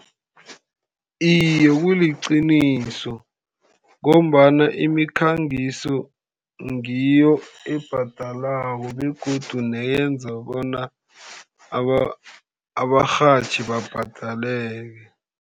Iye, kuliqiniso. Ngombana imikhangiso ngiyo ebhadalako, begodu neyenza bona abarhatjhi babhadaleke.